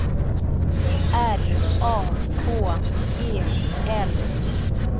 R A K E L